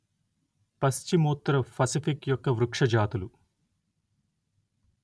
పశ్చిమోత్తర Pacific యొక్క వృక్ష జాతులు